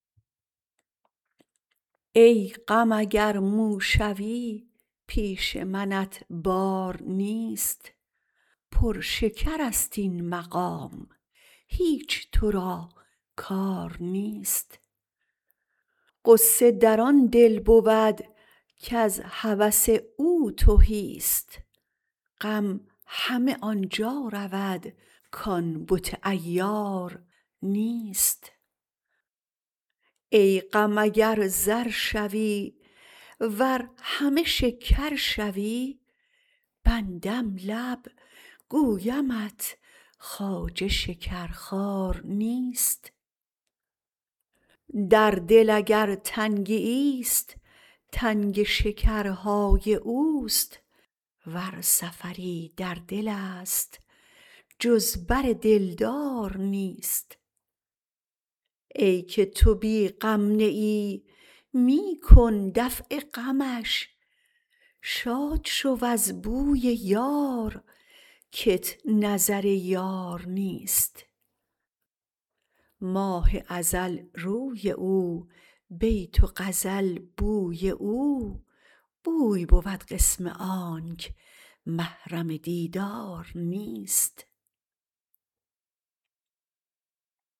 ای غم اگر مو شوی پیش منت بار نیست پر شکرست این مقام هیچ تو را کار نیست غصه در آن دل بود کز هوس او تهیست غم همه آن جا رود کان بت عیار نیست ای غم اگر زر شوی ور همه شکر شوی بندم لب گویمت خواجه شکرخوار نیست در دل اگر تنگیست تنگ شکرهای اوست ور سفری در دلست جز بر دلدار نیست ای که تو بی غم نه ای می کن دفع غمش شاد شو از بوی یار کت نظر یار نیست ماه ازل روی او بیت و غزل بوی او بوی بود قسم آنک محرم دیدار نیست